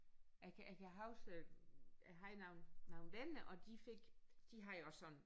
Jeg kan jeg kan havde øh jeg har nogle nogle venner og de fik de havde også sådan